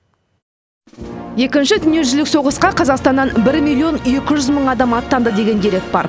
екінші дүниежүзілік соғысқа қазақстаннан бір миллион екі жүз мың адам аттанды деген дерек бар